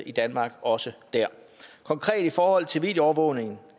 i danmark og også dér konkret i forhold til videoovervågningen